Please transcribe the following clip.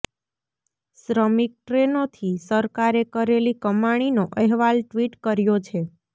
શ્રમિક ટ્રેનોથી સરકારે કરેલી કમાણીનો અહેવાલ ટ્વિટ કર્યો છે